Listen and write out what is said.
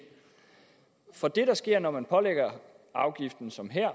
for det der sker når man pålægger afgiften som her